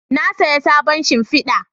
Na saya sabon shimfida